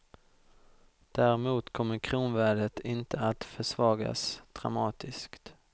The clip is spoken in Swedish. Däremot kommer kronvärdet inte att försvagas dramatiskt.